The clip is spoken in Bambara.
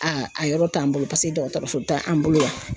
A a yɔrɔ t'an bolo, paseke dɔgɔtɔrɔso t'an bolo yan.